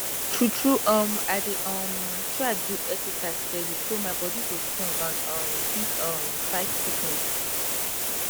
tru tru um i dey um try do exercise steady so my bodi go strong and um fit um fight sickness